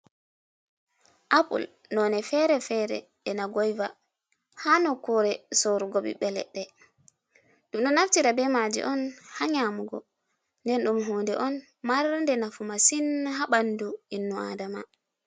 Apul none fere fere e na goyva, ha nokkure sorugo ɓiɓɓe leɗɗe, ɗum ɗo naftira be maji on ha nyamugo, nden ɗum hunde on mar nde nafu masin ha ɓandu innu adama.